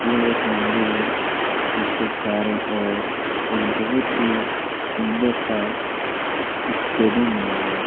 यह एक मंदिर है जिसके चारों ओर एक बहुत ही सुंदर सा सास्टेडियम बना हुआ है।